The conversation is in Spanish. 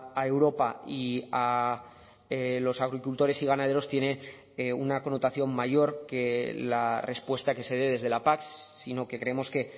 a europa y a los agricultores y ganaderos tiene una connotación mayor que la respuesta que se dé desde la pac sino que creemos que